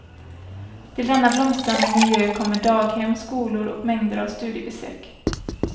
Till denna blomstrande miljö kommer daghem, skolor och mängder av studiebesök.